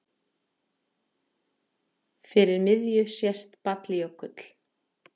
Fyrir miðju sést Balljökull.